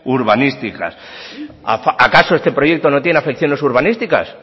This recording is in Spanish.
urbanísticas acaso este proyecto no tiene afecciones urbanísticas